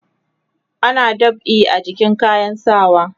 ana dab'i a jikin kayan sawa